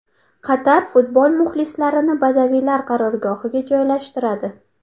Qatar futbol muxlislarini badaviylar qarorgohiga joylashtiradi.